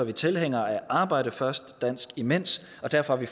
er tilhængere af arbejde først dansk imens og derfor har vi